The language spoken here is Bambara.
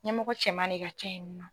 Ɲɛmɔgɔ cɛman ne ka ca yen nɔ.